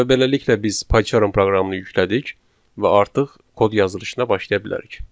Və beləliklə biz PyCharm proqramını yüklədik və artıq kod yazılışına başlaya bilərik.